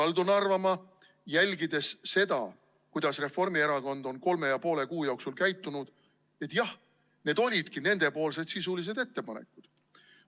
Ma kaldun arvama, jälgides seda, kuidas Reformierakond on kolme ja poole kuu jooksul käitunud, et jah, need olidki nende sisulised ettepanekud.